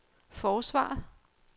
forsvaret